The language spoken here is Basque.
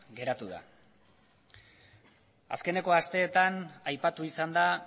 geratu da azkeneko asteetan aipatu izan da